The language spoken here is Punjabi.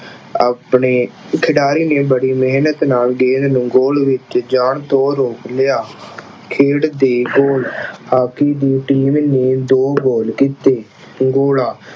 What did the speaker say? ਆਪਣੇ ਖਿਡਾਰੀ ਨੇ ਬੜੀ ਮਿਹਨਤ ਨਾਲ ਗੇਂਦ ਨੂੰ goal ਵਿੱਚ ਜਾਣ ਤੋਂ ਰੋਕ ਲਿਆ। ਖੇਡ ਦੇ goal ਹਾਕੀ ਦੀ team ਨੇ ਦੋ goal ਕੀਤੇ। ਗੋਲਾ